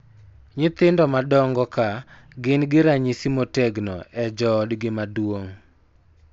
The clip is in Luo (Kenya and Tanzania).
Nyithindo madongo ka gin gi ranyisi motegno e joodgi maduong�